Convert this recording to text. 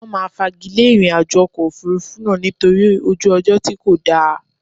Wọn máa fagilé ìrìnàjò ọkọ̀ Òfurufú náà nítorí ojú ọjọ́ tí kò dáa.